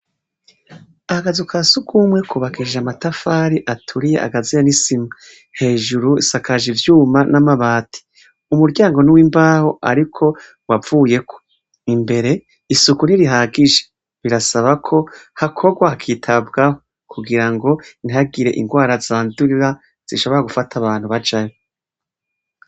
Agazuka siugumwe kubakijja amatafari aturiye agazia nisima hejuru isakaje ivyuma n'amabati umuryango n'w'imbaho, ariko wavuye imbere isuku nirihagisha birasaba ko hakobwa hakitabwaho kugira ngo intagire ingwara zandurira sinshobora gufata abantu bajane.